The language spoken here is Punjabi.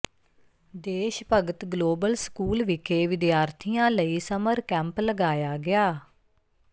ਦੇਸ਼ ਭਗਤ ਗਲੋਬਲ ਸਕੂਲ ਵਿਖੇ ਵਿਦਿਆਰਥੀਆਂ ਲਈ ਸਮਰ ਕੈਂਪ ਲਗਾਇਆ ਗਿਆ